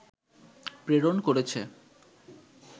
প্রেরণ করেছে